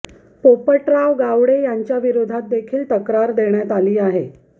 पोपटराव गावडे यांच्या विरोधात देखील तक्रार देण्यात आली आहे